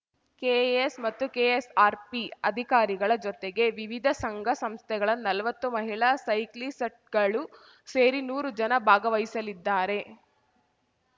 KAS ಮತ್ತು KSRP ಅಧಿಕಾರಿಗಳ ಜೊತೆಗೆ ವಿವಿಧ ಸಂಘ ಸಂಸ್ಥೆಗಳ ನಲ್ವತ್ತು ಮಹಿಳಾ ಸೈಕ್ಲಿಸಟ್ ಗಳು ಸೇರಿ ನೂರು ಜನ ಭಾಗವಹಿಸಲಿದ್ದಾರೆ